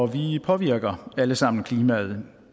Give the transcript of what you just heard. vi påvirker alle sammen klimaet